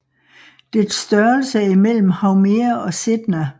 Dets størrelse er imellem Haumea og Sedna